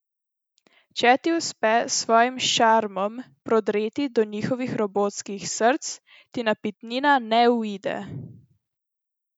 Če ti uspe s svojim šarmom prodreti do njihovih robotskih src, ti napitnina ne uide.